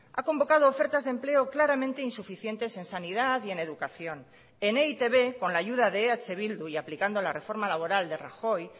ha convocado ofertas de empleo claramente insuficientes en sanidad y en educación en e i te be con la ayuda de eh bildu y aplicando la reforma laboral de rajoy